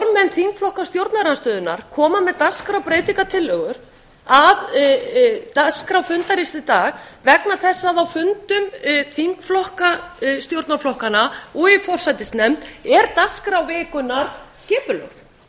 þingflokka stjórnarandstöðunnar koma með dagskrðarbreytingartillögur að dagskrá fundarins í dag vegna þess að á fundum þingflokka stjórnarflokkanna og í forsætisnefnd er dagskrá vikunnar skipulögð hvernig er